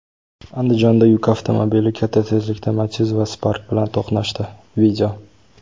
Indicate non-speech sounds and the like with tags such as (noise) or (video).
Andijonda yuk avtomobili katta tezlikda Matiz va Spark bilan to‘qnashdi. (video)